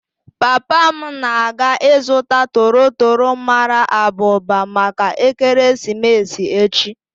Papa m na-aga ịzụta toro toro mara abụba maka ekeresimesi echi.